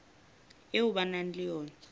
eo ba nang le yona